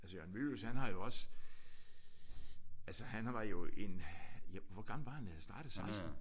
Altså Jørgen Mylius han har jo også altså han var jo en jo hvor gammel var han var da han startede? 16?